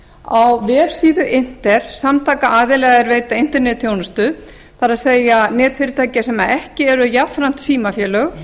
á vefsíðu inter samtaka aðila er veita internetþjónustu það er netfyrirtækja sem ekki eru jafnframt